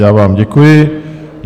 Já vám děkuji.